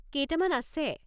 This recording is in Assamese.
কেইটামান আছে।